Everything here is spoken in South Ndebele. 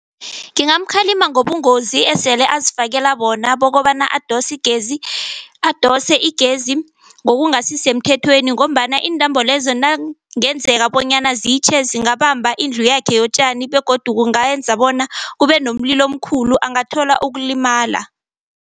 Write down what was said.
Ngingamukhalima ngobungozi esele azifakela bokobana adose igezi. Adose igezi ngokungasisemthethweni ngombana intambo lezo nangenzeka bonyana zitjhe zingabamba indlu yakhe yotjani begodu kungenza bona kube nomlilo omkhulu, angathola ukulimala.